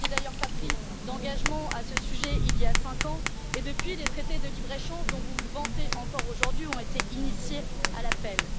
Vous n'aviez d'ailleurs pas pris d'engagement à ce sujet, il y a 5 ans et, depuis, les traités de libre échange, dont vous vantez encore aujourd'hui, ont été initiés à la pelle.